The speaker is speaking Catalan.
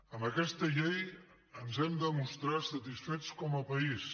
amb aquesta llei ens hem de mostrar satisfets com a país